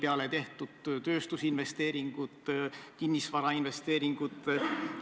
2000. aasta 8. august oli vist see päev, kui koliti Stenbocki majja istungeid pidama.